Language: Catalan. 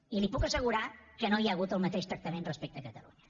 i li puc assegurar que no hi ha hagut el mateix tractament respecte a catalunya